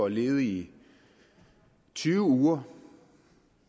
ledig i tyve uger